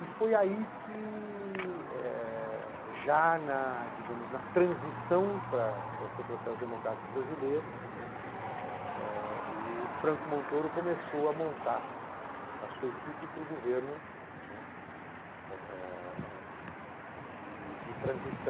E foi aí que, eh já na digamos na transição para para o processo democrático brasileiro, né, o Franco Montoro começou a montar a sua equipe para o governo, né, eh de de transição.